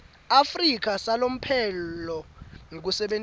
afrika salomphelo ngekusebentisa